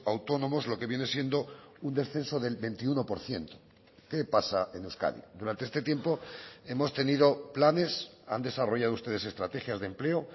autónomos lo que viene siendo un descenso del veintiuno por ciento qué pasa en euskadi durante este tiempo hemos tenido planes han desarrollado ustedes estrategias de empleo